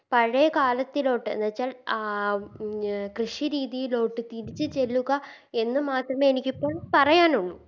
പഴയ കാലത്തിലോട്ട് എന്ന് വെച്ചാൽ ആ ഉം കൃഷി രീതിയിലോട്ട് തിരിച്ച് ചെല്ലുക എന്ന് മാത്രമേ എനിക്കിപ്പോൾ പറയാനുള്ളു